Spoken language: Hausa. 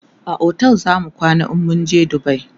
a otel zamu kwana in mun je dubai